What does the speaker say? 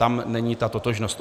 Tam není ta totožnost.